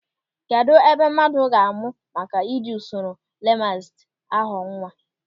Kedụ ebe mmadụ ga-amụ maka ị ji usoro Lamazedi a ghọọ nwa.